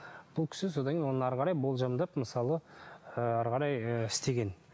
бұл кісі содан кейін одан әрі қарай болжамдап мысалы ы әрі қарай ы істеген